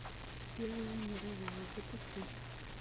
первая мировая запусти